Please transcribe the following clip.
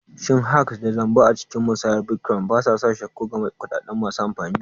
Shin hacks da zamba a cikin musayar bitcoin ba sa sa shakku ga kuɗaɗen masu amfani?